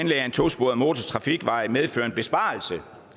en tosporet motortrafikvej medføre en besparelse